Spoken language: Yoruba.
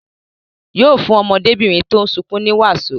Yóò fún ọmọdébìnrin tó ń sunkún ní wàsó.